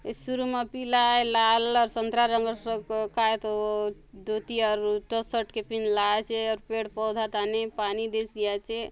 ये शुरू मा पिला आय लाल अउ संतरा रंगर स क कायतो धोती अउ शर्ट के पिँध ला आचे अउर पेड़ - पौधा थाने पानी देयसि आचे।